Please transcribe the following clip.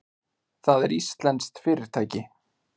Það er íslenskt fyrirtæki.